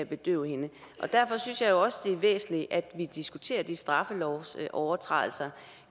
bedøve hende og derfor synes jeg også det er væsentligt at vi diskuterer de straffelovsovertrædelser